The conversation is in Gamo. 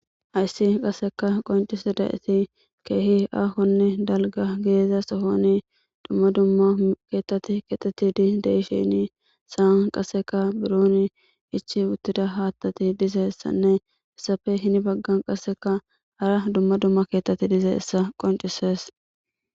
hayssi qasseka qoncise da7eti keehi aahonne dalga geeza sohoni dumma dumma keettati kexeti di deishini saan qasseka buroon ichi uttida haattati dize ssanneessafe hini baggan qasseka hara dumma dumma keettati dize essa qoncises